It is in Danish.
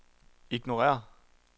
ignorér